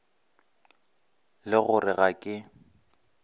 le go re ga ke